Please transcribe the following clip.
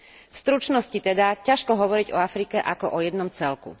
V stručnosti teda ťažko hovoriť o Afrike ako o jednom celku.